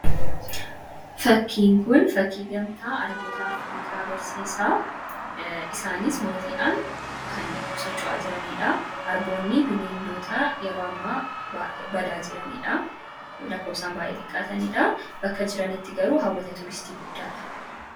Fakkiin kun fakkii gamtaa Arboota Afriikaa agarsiisaa. Isaanis maatiidhaan kan socho'aa jiranii dhaa. Arboonni bineeldota yeroo ammaa badaa jiranii dhaa. Lakkoofsaan baay'ee xiqqaataniidhaa. Bakka jiranitti garuu hawwata turistii guddaa dha.